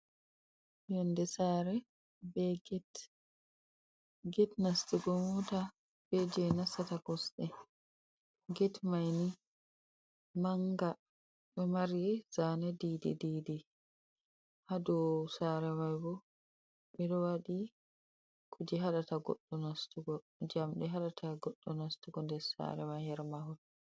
Yonde sare be ged. Ged nastugo mota be je nasata kosde. ged mai ni manga ɗo mari zane didi-didi. Ha dou sare mai bo ɓeɗo waɗi kuje haɗata goɗɗo nastugo, jamɗe haɗata goɗɗo nastugo nder sare mai her mahol.